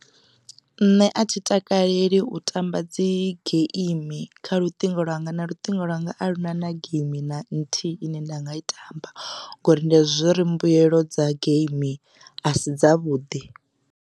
Nṋe a thi takaleli u tamba dzi geimi kha luṱingo lwanga na luṱingo lwanga aluna na geimi na nthihi ine nda nga i tamba ngori ndi azwi ḓivha zwauri mbuelo dza geimi a si dza vhuḓi.